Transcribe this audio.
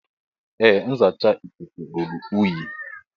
Ee nzacha ikuku ruru unyi.